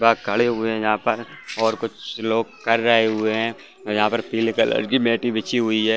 दा खड़े हुए हैं यहाँ पर और कुछ लोग कर रहे हुए हैं और यहाँ पर पीले कलर की मेटे बिछी हुई है।